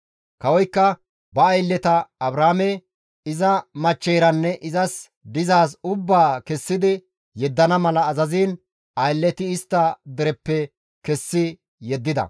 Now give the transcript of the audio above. Kawozikka ba aylleta Abraame iza machcheyranne izas dizaaz ubbaa kessidi yeddana mala azaziin aylleti istta dereppe kessi yeddida.